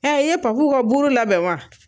i ye Papu ka buru labɛn wa